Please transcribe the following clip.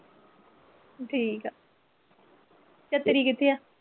ਠੀਕ ਆ ਕਿੱਥੇ ਆ?